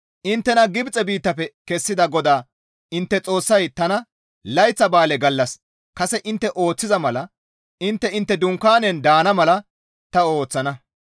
«Inttena Gibxe biittafe kessida GODAA intte Xoossay tana; layththa ba7aale gallas kase intte ooththiza mala intte intte dunkaanen daana mala ta ooththana.